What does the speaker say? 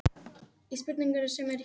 Svangir í Hegningarhúsi